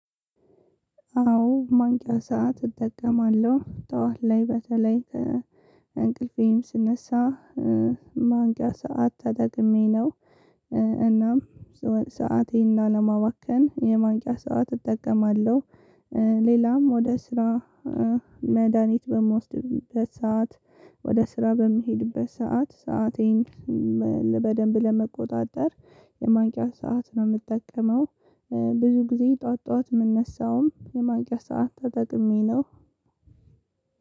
አዎ ማንቂያ ሰዓት እጠቀማለሁ ጠዋት ላይ በተለይ እንቅልፌም ስነሳ ማንቂያ ሰዓት ተጠቅሜ ነው እናም ሰአቴን ላለማባከን የማንቂያ ሰዓት እጠቀማለሁ። ሌላም ወደ ስራ መድሃኒት በምወስድበት ሰዓት ወደ ስራ በምሄድበት ሰዓት ሰአቴን በደንብ ለመቆጣጠር የማንቅያ ሰዓት ነው የምጠቀመው። ብዙ ጊዜ ጠዋት ጠዋት ምነሳውም የማንቅያ ሰዓት ተጠቅሜ ነው።